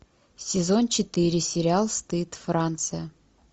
сезон четыре сериал стыд франция